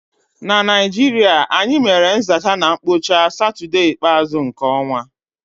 N'Naịjirịa, anyị mere nzacha na mkpocha satọdee ikpeazu nke ọnwa